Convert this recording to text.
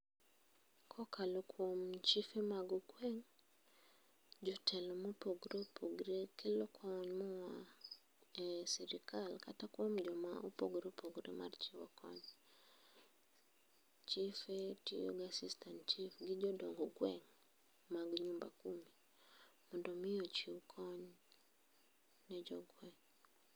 Kokalo kuom chife mag gweng jotelo ma opogore opogore kelo kony moa e sirkal kata kuom joma opogore opogore mochiwore mar chiwo kony. Chife tiyo gi assistant chief kod jodong gweng mag nyumba kumi mondo mi ochiw kony ne jogweng